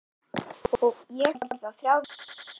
Ég horfði á þrjár myndir.